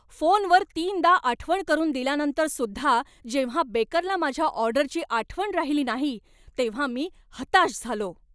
फोनवर तीनदा आठवण करून दिल्यानंतरसुद्धा जेव्हा बेकरला माझ्या ऑर्डरची आठवण राहिली नाही तेव्हा मी हताश झालो.